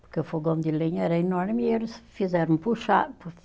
Porque o fogão de lenha era enorme e eles fizeram puxado.